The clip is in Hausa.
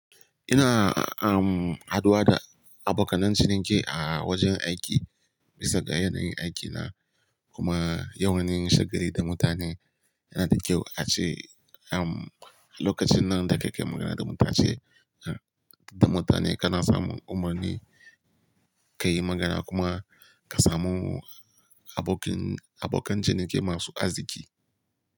Ina, um, haduwa da abokanan ciniki a wajen aiki, bisa ga yanayin aikina. Kuma yawan yin shagali da mutane yana da kyau a ce, um, lokacin nan da kake magana da mutane. Da mutane kana samum umarni, ka yi magana kuma ka samu abokin, abokan ciniki masu aziki.